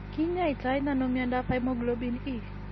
Kiny'aayto nano mnyandoap hemoglobin E?